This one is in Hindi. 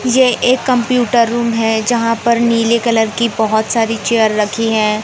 यह एक कंप्यूटर रूम है जहां पर नीले कलर की बहुत सारी चेयर रखी हैं।